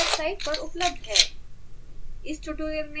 जो कि हमारी वेबसाइट wwwspokentutorialorg पर उपलब्ध है